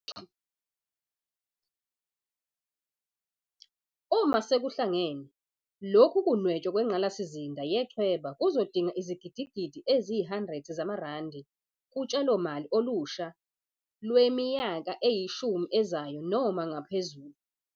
Uma sekuhlangene, lokhu kunwetshwa kwengqalasizinda yechweba kuzodinga izigidigidi eziyi-100 zamarandi kutshalomali olusha lwemi yaka eyishumi ezayo noma ngaphezulu.